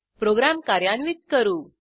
program कार्यान्वित करू